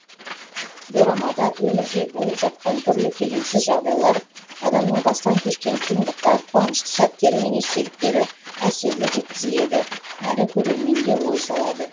дорамада өмірде болып жатқан түрлі келеңсіз жағдайлар адамның бастан кешкен қиындықтар қуанышты сәттері мен естеліктері әсерлі жеткізіледі әрі көрерменге ой салады